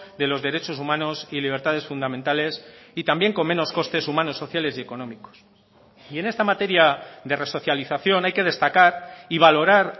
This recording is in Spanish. de los derechos humanos y libertades fundamentales y también con menos costes humanos sociales y económicos y en esta materia de resocialización hay que destacar y valorar